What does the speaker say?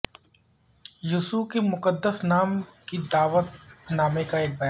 یسوع کے مقدس نام کی دعوت نامہ کا ایک بیان